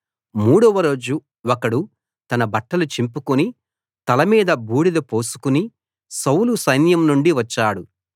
మూడవ రోజు ఒకడు తన బట్టలు చింపుకుని తల మీద బూడిద పోసుకుని సౌలు సైన్యం నుండి వచ్చాడు